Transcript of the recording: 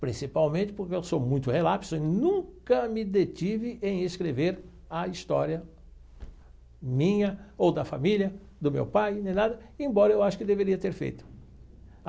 Principalmente porque eu sou muito relapso e nunca me detive em escrever a história minha ou da família, do meu pai, nem nada, embora eu acho que deveria ter feito.